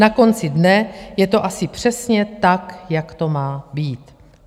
Na konci dne je to asi přesně tak, jak to má být.